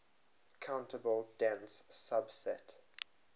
countable dense subset